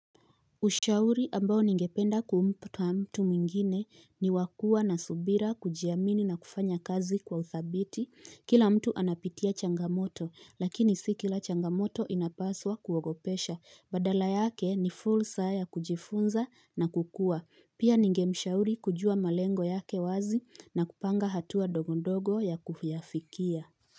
Ushauri ambao ningependa kumpa mtu mwingine niwakuwa na subira kujiamini na kufanya kazi kwa uthabiti. Kila mtu anapitia changamoto lakini sikila changamoto inapaswa kuogopesha. Badala yake ni fursa ya kujifunza na kukua. Pia ningemshauri kujua malengo yake wazi na kupanga hatua dogo dogo ya kuyafikia.